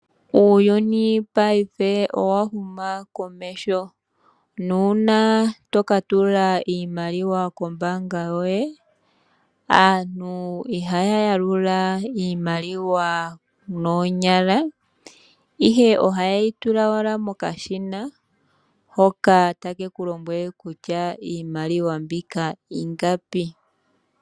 Uuyuni paife owa huma komeho nuuna to ka tula iimaliwa kombaanga yoye, aantu ihaya yalula iimaliwa noonyala, ihe ohaye yi tua owala mokashina hoka take ku lombwele kutya iimaliwa mbika ingapi.